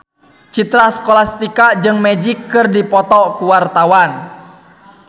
Citra Scholastika jeung Magic keur dipoto ku wartawan